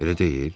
Elə deyil?